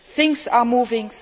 Things are moving,